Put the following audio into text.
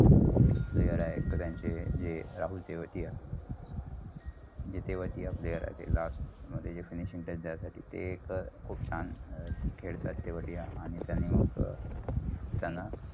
player आहेत. त्यांची जे राहुल तेवतिया last मध्ये finishing ते त्यांचा त्यासाठी तेय एक खूप छान खेळतात तेवतिया आणि त्यायनी मग त्याना